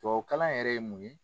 Tubabukalan yɛrɛ ye mun ye.